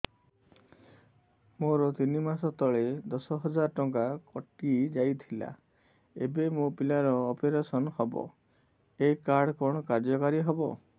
ମୋର ତିନି ମାସ ତଳେ ଦଶ ହଜାର ଟଙ୍କା କଟି ଯାଇଥିଲା ଏବେ ମୋ ପିଲା ର ଅପେରସନ ହବ ଏ କାର୍ଡ କଣ କାର୍ଯ୍ୟ କାରି ହବ